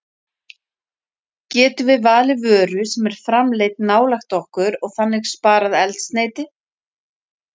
Getum við valið vöru sem er framleidd nálægt okkur og þannig sparað eldsneyti?